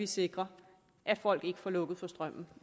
sikrer at folk ikke får lukket for strømmen